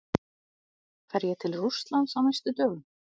Fer ég til Rússlands á næstu dögum?